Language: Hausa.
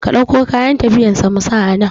Ka ɗauko kayan tafiyan sa mu sa anan